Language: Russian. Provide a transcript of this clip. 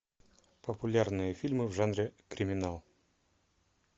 популярные фильмы в жанре криминал